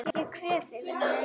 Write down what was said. Ég kveð þig vinur minn.